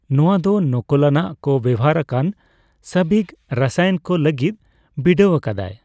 ᱱᱚᱣᱟ ᱫᱚ ᱱᱚᱠᱚᱞᱟᱱᱟᱜ ᱠᱚ ᱵᱮᱣᱦᱟᱨ ᱟᱠᱟᱱ ᱥᱟᱵᱤᱜᱽ ᱨᱟᱥᱟᱭᱚᱱ ᱠᱚ ᱞᱟᱹᱜᱤᱫ ᱵᱤᱰᱟᱹᱣ ᱟᱠᱟᱫᱟᱭ ᱾